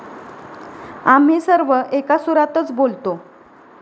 आम्ही सर्व एका सुरातच बोलतो.